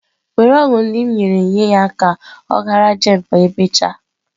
Were ọgwụ ndị m nyere nye ya ka ọ ghara jane ma emechaa.